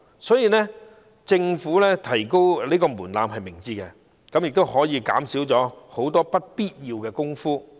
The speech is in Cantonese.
所以，政府提高有關門檻是明智的，可以減少很多不必要的工作。